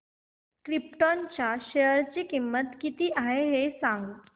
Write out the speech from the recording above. krypton च्या share ची किंमत किती आहे हे सांगा